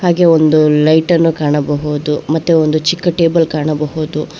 ಹಾಗೆ ಒಂದು ಲೈಟ್ ಅನ್ನು ಕಾಣಬಹುದು ಮತ್ತೆ ಒಂದು ಚಿಕ್ಕ ಟೇಬಲ್ ಕಾಣಬಹುದು.